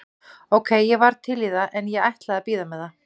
Ókei, ég var til í það en ég ætlaði að bíða með það.